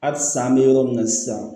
Halisa an bɛ yɔrɔ min na sisan